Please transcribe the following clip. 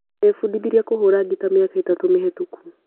Ndembudithirie kũhũra ngita miaka mĩtatũ mĩhetũku.